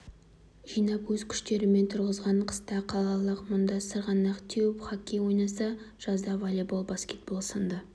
жинап өз күштерімен тұрғызған қыста қалалықтар мұнда сырғанақ теуіп хоккей ойнаса жазда волейбол баскетбол сынды